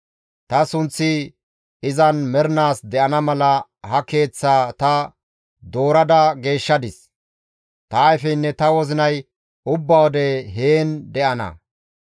Ta sunththi izan mernaas de7ana mala ha Keeththaa ta doorada geeshshadis; ta ayfeynne ta wozinay ubba wode heen de7ana.